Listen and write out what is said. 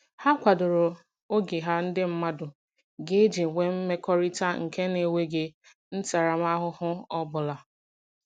Ha kwadoro oge ha ndị mmadụ ga-eji enwe mmekọrịta nke na - eweghi ntaramahụhụ ọbụla